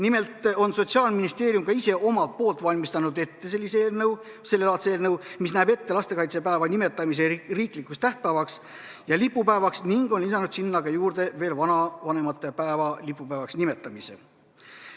Nimelt on Sotsiaalministeerium ka ise omalt poolt valmistanud ette sellelaadse eelnõu, mis näeb ette lastekaitsepäeva nimetamise riiklikuks tähtpäevaks ja lipupäevaks, ning on lisanud sinna ka juurde veel vanavanemate päeva lipupäevaks nimetamise.